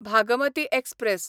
Bhagmati express